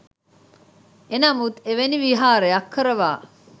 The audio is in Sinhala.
එනමුත් එවැනි විහාරයක් කරවා